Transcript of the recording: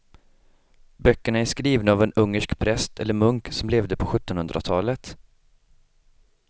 Böckerna är skrivna av en ungersk präst eller munk som levde på sjuttonhundratalet.